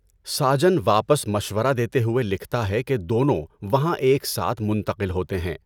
ساجن واپس مشورہ دیتے ہوئے لکھتا ہے کہ دونوں وہاں ایک ساتھ منتقل ہوتے ہیں۔